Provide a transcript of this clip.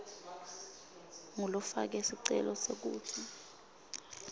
ngulofake sicelo kutsi